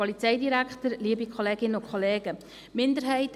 Kommissionssprecherin der SiK-Minderheit.